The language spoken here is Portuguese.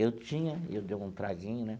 Eu tinha, eu dei um traguinho, né?